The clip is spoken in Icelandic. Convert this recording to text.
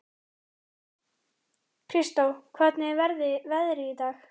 Kristó, hvernig er veðrið í dag?